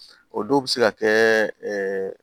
O don bɛ se ka kɛ